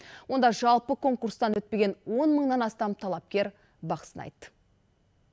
онда жалпы конкурстан өтпеген он мыңнан астам талапкер бақ сынайды